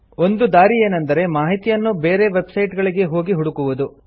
ಒಂದು ದಾರಿ ಏನೆಂದರೆ ಮಾಹಿತಿಯನ್ನು ಬೇರೆ ವೆಬ್ ಸೈಟ್ ಗಳಿಗೆ ಹೋಗಿ ಹುಡುಕುವುದು